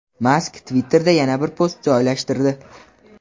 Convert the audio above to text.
Mask Twitter’da yana bir post joylashtirdi.